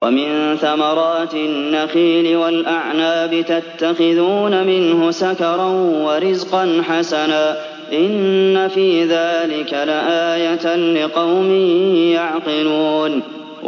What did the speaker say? وَمِن ثَمَرَاتِ النَّخِيلِ وَالْأَعْنَابِ تَتَّخِذُونَ مِنْهُ سَكَرًا وَرِزْقًا حَسَنًا ۗ إِنَّ فِي ذَٰلِكَ لَآيَةً لِّقَوْمٍ يَعْقِلُونَ